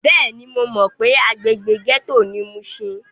Bẹ́ẹ̀ni, mo mọ pé agbègbè gẹ́tò ni mushin.